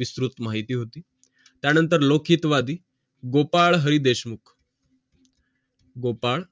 उत्कृष्ट मा हिती होती लौकिकवादि गोपाळ हरी देशमुख गोपाळ